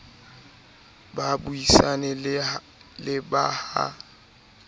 ba buisane le ba ha